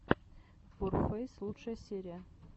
ворфэйс лучшая серия